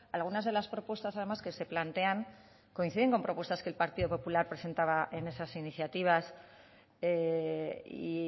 algunas de las propuestas además que se plantean coinciden con propuestas que el partido popular presentaba en esas iniciativas y